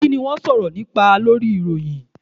Kini wọn sọrọ nipa Lori iroyin?